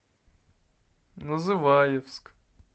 называевск